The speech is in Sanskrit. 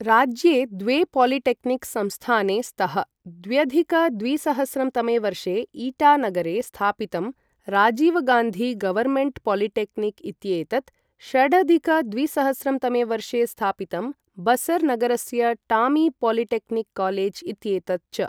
राज्ये द्वे पालिटेक्निक् संस्थाने स्तः द्व्यधिक द्विसहस्रं तमे वर्षे ईटा नगरे स्थापितं राजीवगान्धी गवर्न्मेण्ट् पालिटेक्निक् इत्येतत्, षडधिक द्विसहस्रं तमे वर्षे स्थापितं बसर् नगरस्य टॉमी पालिटेक्निक् कालेज् इत्येतत् च।